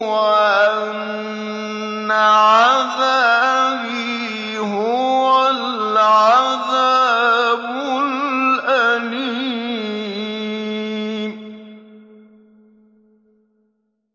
وَأَنَّ عَذَابِي هُوَ الْعَذَابُ الْأَلِيمُ